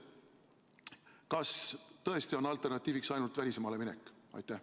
Kas tõesti on alternatiiviks ainult välismaale minek?